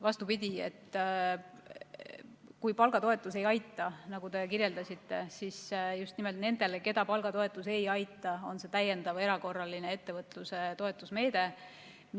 Vastupidi, kui palgatoetus ei aita, nagu te kirjeldasite, siis just nimelt nendele, keda palgatoetus ei aita, on mõeldud see täiendav erakorraline ettevõtluse toetusmeede.